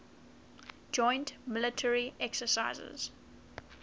joint military exercises